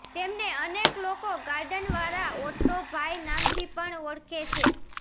તેમને અનેક લોકો ગાર્ડનવાળા ઓટો ભાઈ નામથી પણ ઓળખે છે